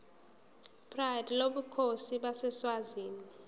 pride lobukhosi baseswazini